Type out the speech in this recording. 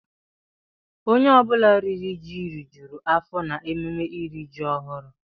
Onye ọ bụla riri ji rijuo afọ n'emume iri ji ọhụrụ.